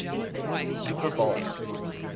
super bowl